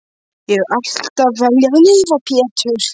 Ég hef alltaf viljað lifa Pétur.